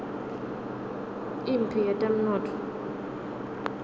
imphi yetemnotfo